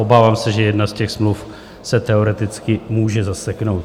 Obávám se, že jedna z těch smluv se teoreticky může zaseknout.